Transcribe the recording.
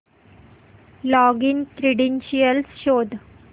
login credentials शोध